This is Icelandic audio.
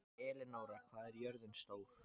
Elenóra, hvað er jörðin stór?